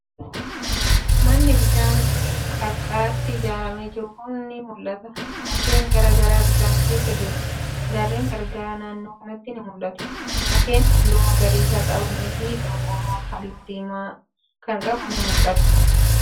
Manni bishaan qarqaratti ijaaramee jiru ni mul'ata. Mukkeen garagaraa bishaan marsanii jiru. Gaarren garagaraa naannoo kanatti ni mul'atu. Mukkeen haalluu magariisa qabanii fi qorqoorron haalluu diimaa kan qabu ni mul'ata.